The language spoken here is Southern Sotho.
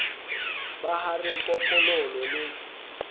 ba ha re kokololo le